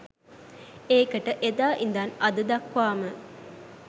ඒකට එදා ඉඳන් අද දක්වාම